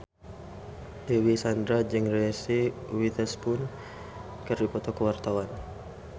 Dewi Sandra jeung Reese Witherspoon keur dipoto ku wartawan